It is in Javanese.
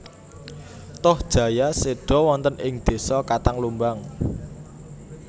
Tohjaya seda wonten ing desa Katang Lumbang